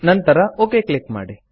ನಂತರ okay click ಮಾಡಿ